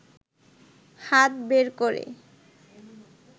হাত বের করে